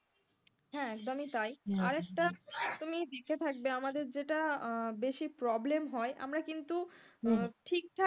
হ্যাঁ একদমই তাই। আর একটা তুমি দেখে থাকবে আমাদের যেটা বেশি problem হয় আমারা কিন্তু ঠিকঠাক,